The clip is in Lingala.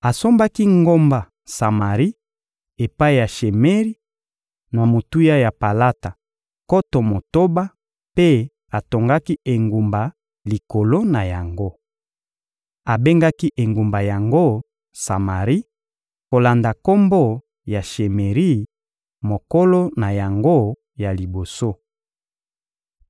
Asombaki ngomba Samari epai ya Shemeri na motuya ya palata nkoto motoba mpe atongaki engumba likolo na yango. Abengaki engumba yango Samari kolanda kombo ya Shemeri, mokolo na yango ya liboso.